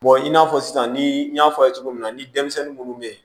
i n'a fɔ sisan ni n y'a fɔ aw ye cogo min na ni denmisɛnnin munnu bɛ